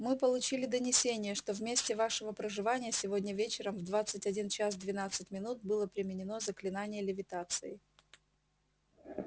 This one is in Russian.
мы получили донесение что в месте вашего проживания сегодня вечером в двадцать один час двенадцать минут было применено заклинание левитации